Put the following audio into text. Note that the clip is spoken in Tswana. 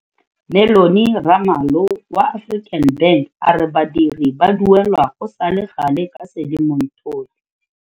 Mellony Ramalho wa African Bank a re badiri ba duelwa go sale gale ka Sedimonthole.